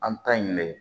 An ta in de